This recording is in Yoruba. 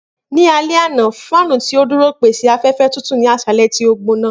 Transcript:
Ni alẹ ana, fáànù ti o duro pese afẹfẹ tutu ni aṣalẹ ti o gbona.